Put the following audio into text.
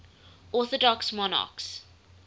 orthodox monarchs